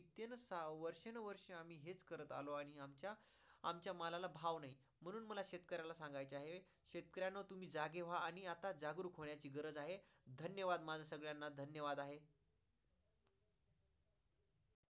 वर्षोन वर्ष आम्ही हेच करत आलो आणि आमच्या मालाला भाव नाही, म्हणून मला शेतकऱ्याला सांगायचे आहे, शेतऱ्यांनो तुम्ही जागे व्हा आणि आता जागृक होण्याची गरज आहे. धन्यवाद माझा सगळ्यांना. धन्यवाद आहे.